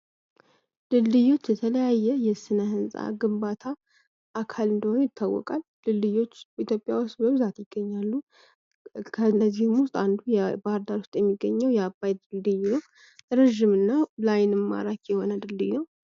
ድልድዮች ከተለያዩ የስነ-ህንፃ ግንባታ አካል እንደሆኑ ይታወቃል። ድልድይዎች ኢትዮጵያ ውስጥ በብዛት ከእነዚህም ውስጥ አንዱ በባህርዳር የሚገኘው የአባይ ድልድይ ነው። እረጂምና ለአይንም ማራኪ የሆነ ድልድይ ነው።